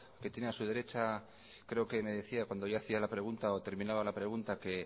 que tiene a su derecha creo que me decía cuando yo hacía la pregunta o terminaba la pregunta que